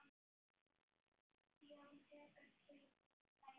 Jón tekur tilbúið dæmi.